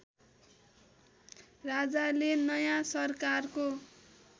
राजाले नयाँ सरकारको